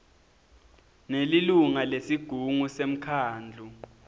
nelilunga lesigungu semkhandlu